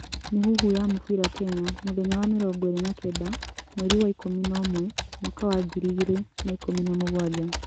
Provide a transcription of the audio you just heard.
Mĩhuhu ya mũbira Kenya mũthenya wa mĩrongo iri na kenda mweri wa ikũmi na ũmwe mwaka wa ngiri igĩrĩ na ikũmi na mũgwanja